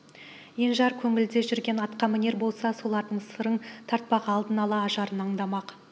енжар көңілде жүрген атқамінер болса солардың сырың тартпақ алдын ала ажарын андамақ